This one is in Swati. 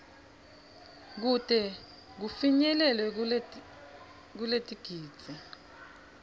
kute kufinyelele kuletigidzi